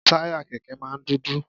Táyà Kẹ̀kẹ́ máa ń dúdú.